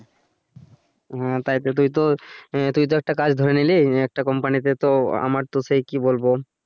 হ্যা তাইতো তুই তো আহ তুই তো একটা কাজ ধরে নিলি একটা company তে তো আমার সেই কি বলবো।